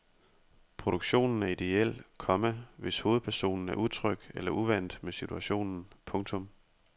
Produktionen er idéel, komma hvis hovedpersonen er utryg eller uvant med situationen. punktum